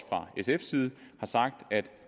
fra sfs side har sagt at